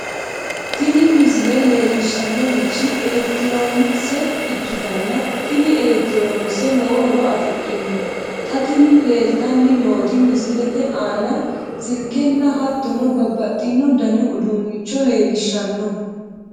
tini misile leellishshannorichi elekitiroonikise ikkitanna tini elekitiroonikise lowo horo afidhino xa tini leeltanni nooti misilete aana silkenna hattono babbaxxino dani uduunnicho leellishshanno.